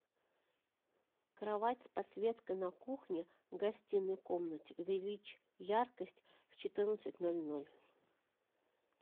кровать с подсветкой на кухне в гостиной комнате увеличь яркость в четырнадцать ноль ноль